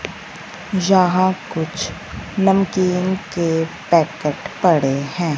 जहां कुछ नमकीन के पैकेट पड़े हैं।